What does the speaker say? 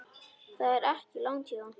Það er ekki langt héðan.